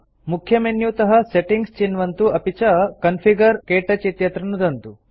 मुख्यमेन्युतः settings चिन्वन्तु अपि च कॉन्फिगर - क्तौच इत्यत्र नुदन्तु